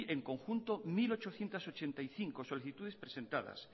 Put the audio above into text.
en conjunto mil ochocientos ochenta y cinco solicitudes presentadas